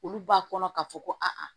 Olu b'a kɔnɔ ka fɔ ko a